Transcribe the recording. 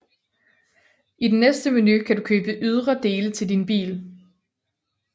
I den næste menu kan du købe ydre dele til bil